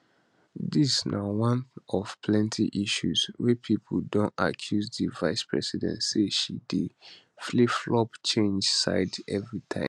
dis na one of plenti issues wey pipo don accuse di vicepresident say she dey flipflop change side evritime